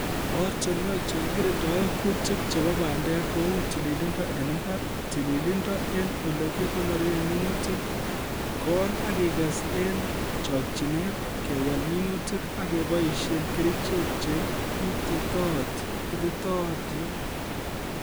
Ortinwek che kikirindae kuutik chebo bandek kou tililindo eng imbar, tililindo eng olekikonore minutik ,kol akikes eng chokchinet, kewal minutik ak keboisie kerichek che ititootin